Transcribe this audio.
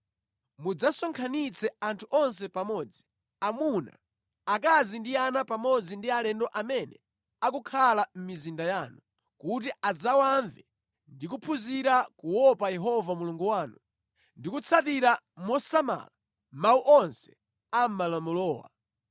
Mudzasonkhanitse anthu onse pamodzi, amuna, akazi ndi ana pamodzi ndi alendo amene akukhala mʼmizinda yanu, kuti adzawamve ndi kuphunzira kuopa Yehova Mulungu wanu ndi kutsatira mosamala mawu onse a mʼmalamulowa.